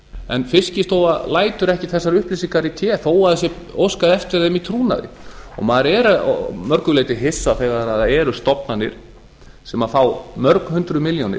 en fiskistofa lætur ekki þessar upplýsingar í té þó að það sé óskað eftir þeim í trúnaði maður er að mörgu leyti hissa þegar það eru stofnanir sem fá mörg hundruð milljónir